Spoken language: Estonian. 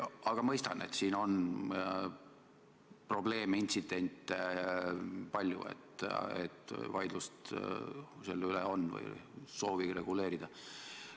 Aga ma mõistan, et siin on probleeme ja intsidente palju, vaidlust selle üle on, on soovi reguleerida.